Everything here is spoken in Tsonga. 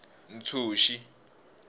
ntshuxi